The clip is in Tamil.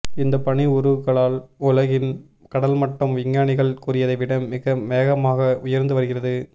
இந்த பனி உருகலால் உலகின் கடல் மட்டம் வி்ஞ்ஞானிகள் கூறியதை விட மிக வேகமாகவே உயர்ந்து வருகிறது